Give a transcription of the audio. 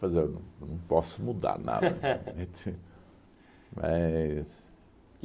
Fazer um. Eu não posso mudar nada. Mas